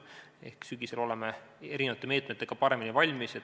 Ehk sügisel oleme erinevate meetmetega paremini valmis.